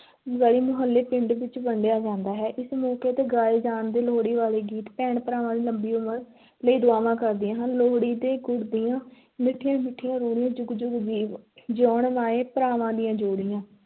ਗਲੀ-ਮੁਹੱਲੇ, ਪਿੰਡ ਵਿੱਚ ਵੰਡਿਆ ਜਾਂਦਾ ਹੈ, ਇਸ ਮੌਕੇ ਤੇ ਗਾਏ ਜਾਂਦੇ ਲੋਹੜੀ ਵਾਲੇ ਗੀਤ ਭੈਣ ਭਰਾਵਾਂ ਦੀ ਲੰਬੀ ਉਮਰ ਲਈ ਦੁਆਵਾਂ ਕਰਦੀਆਂ ਹਨ, ਲੋਹੜੀ ਦੇ ਗੁੜ ਦੀਆਂ ਮਿੱਠੀਆਂ-ਮਿੱਠੀਆਂ ਰਿਓੜੀਆਂ, ਜੁਗ-ਜੁਗ ਜਿਊਂਣ ਮਾਂਏਂ, ਭਰਾਵਾਂ ਦੀਆਂ ਜੋੜੀਆਂ।